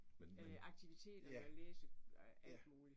Øh aktiviteter og læse øh alt muligt